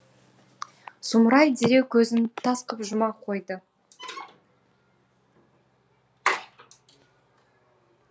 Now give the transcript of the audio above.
сұмырай дереу көзін тас қып жұма қойды